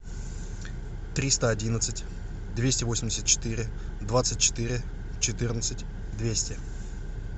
триста одиннадцать двести восемьдесят четыре двадцать четыре четырнадцать двести